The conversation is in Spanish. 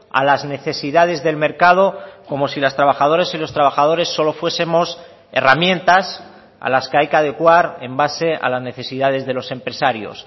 a las necesidades del mercado como si las trabajadoras y los trabajadores solo fuesemos herramientas a las que hay que adecuar en base a las necesidades de los empresarios